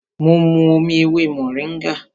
Mo mu omi ewé mòríngà